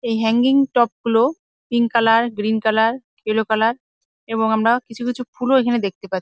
এই hanging top -গুলো pink colour green colour yellow colour এবং আমরা কিছু কিছু ফুলও এখানে দেখতে পা--